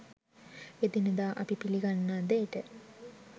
එදිනෙදා අපි පිළිගන්නා දේට